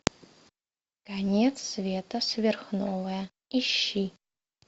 конец света сверхновая ищи